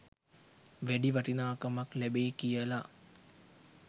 වැඩි වටිනාකමක් ලැබෙයි කියලා?